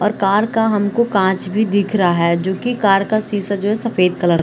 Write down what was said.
और कार का हमको कांच भी दिख रहा है जो की कार का सीसा जो है सफ़ेद है।